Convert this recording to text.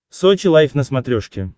сочи лайф на смотрешке